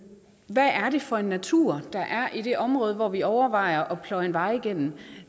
hvad er det for en natur der er i det område hvor vi overvejer at pløje en vej igennem